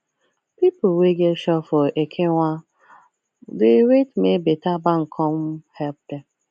people wey get shop for ekenwan dey wait make better bank come help them